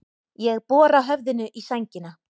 Ég bora höfðinu í sængina.